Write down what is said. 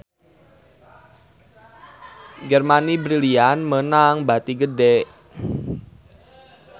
Germany Brilliant meunang bati gede